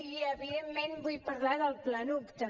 i evidentment vull parlar del planuc també